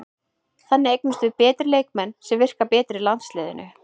Þannig eignumst við betri leikmenn sem virka betur í landsliðinu.